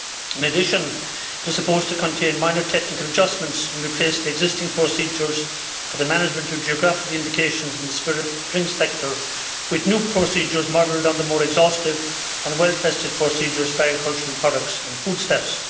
In addition, it was supposed to contain minor technical adjustments and replace the existing procedures for the management of geographical indications in the spirit drinks sector with new procedures modelled on the more exhaustive and well tested procedures for agricultural products and foodstuffs.